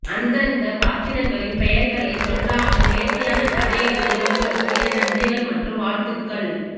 அந்தந்த பாத்திரங்களின் பெயர்களை சொல்லாமல் நேர்த்தியான கதை எழுதிய உங்களுக்கு என் நன்றிகள் மற்றும் வாழ்த்துக்கள்